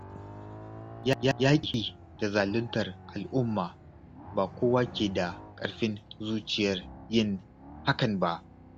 Yaƙi da zaluntar a'umma ba kowa ke da ƙarfin zuciyar yin hakan ba